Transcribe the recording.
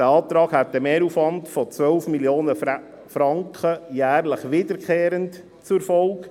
Dieser Antrag hätte einen Mehraufwand von jährlich wiederkehrenden 12 Mio. Franken zur Folge.